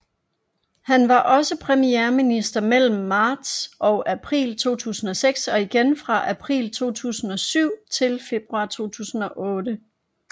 Han var også premierminister mellem marts og april 2006 og igen fra april 2007 til februar 2008